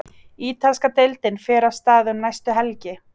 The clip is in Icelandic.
Ítalska deildin fer af stað um næstu helgi.